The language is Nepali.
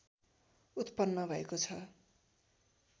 उत्‍पन्‍न भएको छ